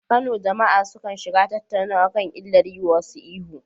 A Kano, jama’a sukan shiga tattaunawa kan illar yiwa wasu ihu.